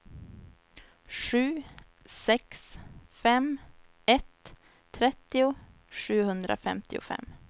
sju sex fem ett trettio sjuhundrafemtiofem